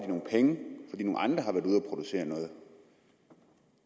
producere noget